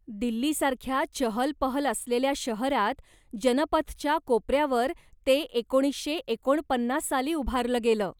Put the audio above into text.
दिल्लीसारख्या चहलपहल असलेल्या शहरात जनपथच्या कोपऱ्यावर ते एकोणीशे एकोणपन्नास साली उभारलं गेलं.